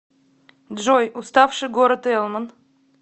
джой уставший город элман